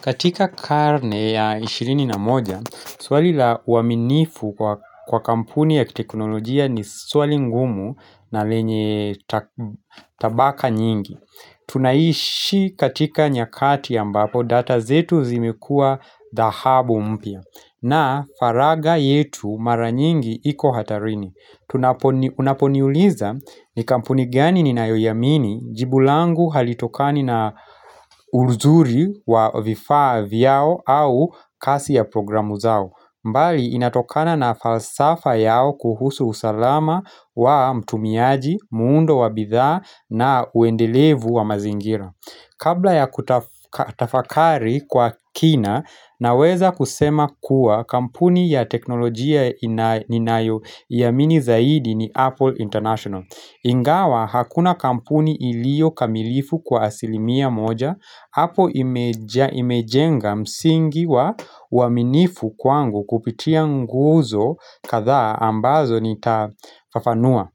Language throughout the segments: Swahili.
Katika karne ya ishirini na moja, swali la uaminifu kwa kampuni ya teknolojia ni swali ngumu na lenye tabaka nyingi. Tunaishi katika nyakati ya ambapo data zetu zimekua dahabu mpia na faraga yetu mara nyingi iko hatarini. Tunaponiuliza ni kampuni gani ninayoyamini jibu langu halitokani na uruzuri wa vifaa vyao au kasi ya programu zao mbali inatokana na falsafa yao kuhusu usalama wa mtumiaji, muundo wa bidha na uendelevu wa mazingira Kabla ya kutafakari kwa kina naweza kusema kuwa kampuni ya teknolojia ninayo yamini zaidi ni Apple International. Ingawa hakuna kampuni ilio kamilifu kwa asilimia moja, hapo imejenga msingi wa uaminifu kwangu kupitia nguzo katha ambazo nitafafanua.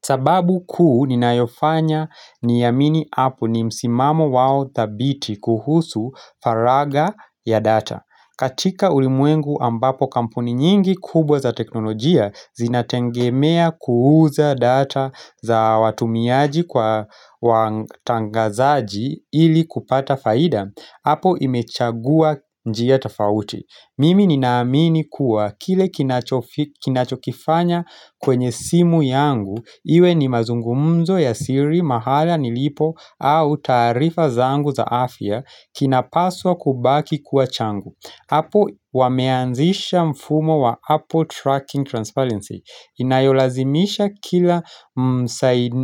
Sababu kuu ninayofanya niyamini apple ni msimamo wao thabiti kuhusu faraga ya data. Katika ulimwengu ambapo kampuni nyingi kubwa za teknolojia zinatengemea kuuza data za watumiaji kwa watangazaji ili kupata faida, Apo imechagua njia tofauti. Mimi ninaamini kuwa kile kinachokifanya kwenye simu yangu, iwe ni mazungumzo ya siri mahala nilipo au tarifa zangu za afya kinapaswa kubaki kuwa changu. Apo wameanzisha mfumo wa Apple Tracking Transparency Inayolazimisha kila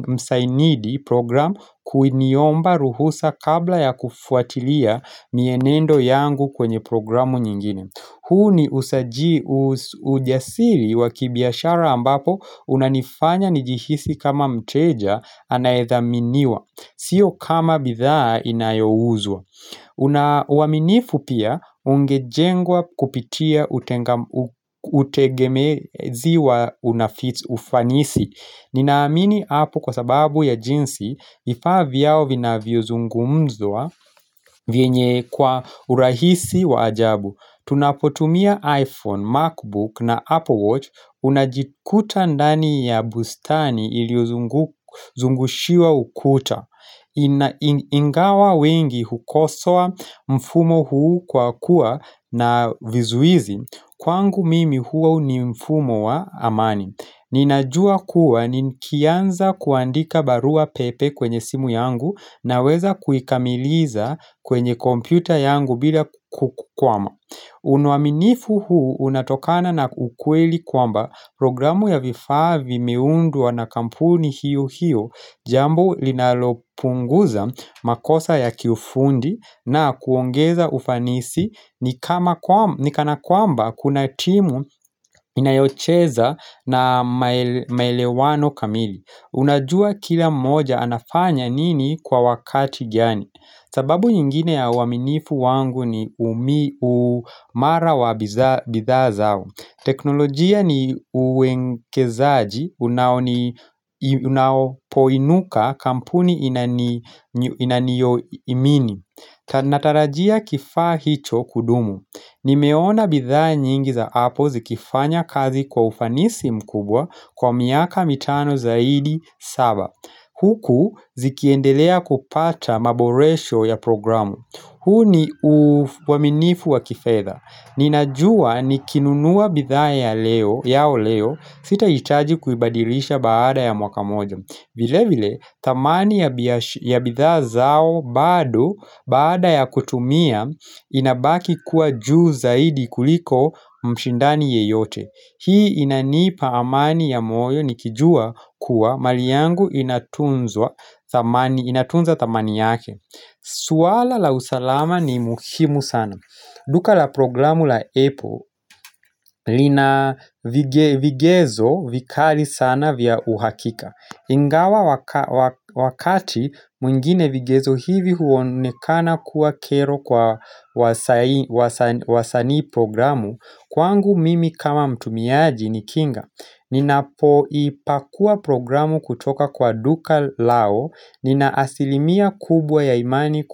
msainidi program kuiniomba ruhusa kabla ya kufuatilia mienendo yangu kwenye programu nyingine huu ni usaji ujasiri wa kibiashara ambapo unanifanya nijihisi kama mteja anayethaminiwa Sio kama bithaa inayouzwa Unauwaminifu pia ungejengwa kupitia utegemezi wa unafits ufanisi Ninaamini hapo kwa sababu ya jinsi vifaa vyao vinaviozungumzwa vienye kwa urahisi wajabu Tunapotumia iPhone, MacBook na Apple Watch Unajikuta ndani ya bustani iliozungushiwa ukuta Ingawa wengi hukosoa mfumo huu kwa kuwa na vizuizi Kwangu mimi huu ni mfumo wa amani Ninajua kuwa nikianza kuandika barua pepe kwenye simu yangu Naweza kuikamiliza kwenye kompyuta yangu bila kukwama Unauaminifu huu unatokana na ukweli kwamba Programu ya vifa vimeundwa na kampuni hiyo hiyo Jambo linalopunguza makosa ya kiufundi na kuongeza ufanisi ni kana kwamba kuna timu inayocheza na maelewano kamili. Unajua kila moja anafanya nini kwa wakati gani. Sababu nyingine ya waminifu wangu ni umi umara wa bitha zao. Teknolojia ni uenkezaaji unapo inuka kampuni inanio imini Natarajia kifaa hicho kudumu Nimeona bidhaa nyingi za Apple zikifanya kazi kwa ufanisi mkubwa kwa miaka mitano zaidi saba Huku zikiendelea kupata maboresho ya programu huu ni uaminifu wa kifedha Nina jua nikinunuwa bitha ya leo, sita itaji kuibadilisha baada ya mwaka moja vile vile, tamani ya bitha zao bado, baada ya kutumia, inabaki kuwa juu zaidi kuliko mshindani yeyote Hii inanipa amani ya moyo nikijua kuwa mali yangu inatunza tamani yake Suwala la usalama ni muhimu sana Duka la programu la Epo lina vigezo vikali sana vya uhakika. Ingawa wakati mwingine vigezo hivi huonekana kuwa kero kwa wasani programu, kwangu mimi kama mtumiaji ni kinga. Ninapo ipakua programu kutoka kwa duka lao, nina asilimia kubwa ya imani kwa.